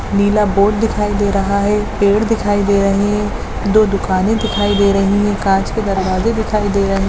नीला board दिखाई दे रहा है पेड़ दिखाई दे रही है दो दिखाई दे रही है काँच के दुकाने दिखाई दे रही है।